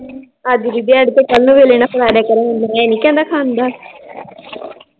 ਅੱਜ ਦੀ ਦਿਹਾੜੀ ਕੱਲ ਮੇਰੇ ਨਾਲ ਮੈ ਨੀ ਕਹਿੰਦਾ ਖਾਂਦਾ l